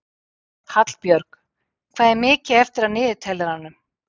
Hallbjörg, hvað er mikið eftir af niðurteljaranum?